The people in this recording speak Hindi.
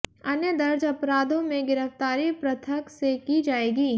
अन्य दर्ज अपराधों में गिरफ्तारी पृथक से की जाएगी